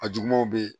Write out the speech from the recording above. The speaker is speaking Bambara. A jugumanw bɛ yen